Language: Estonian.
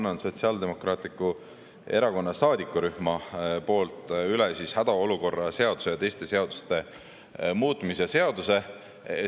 Ma annan Sotsiaaldemokraatliku Erakonna saadikurühma poolt üle hädaolukorra seaduse ja teiste seaduste muutmise seaduse.